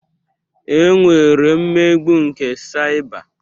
E nwere mmegbu nke saịba.